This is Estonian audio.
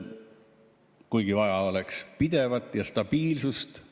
Oleks vaja pidevust ja stabiilsust.